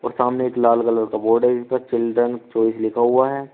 सामने एक लाल कलर का बोर्ड है जिस पर चिल्ड्रन चॉइस लिखा हुआ है।